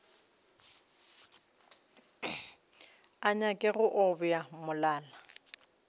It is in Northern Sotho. a nyake go obja molala